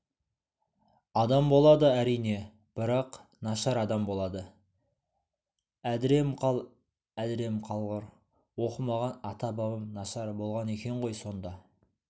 адам болады әрине бірақ нашар адам болады әдірем қал әдірем қалғыр оқымаған ата-бабам нашар болған екен ғой сонда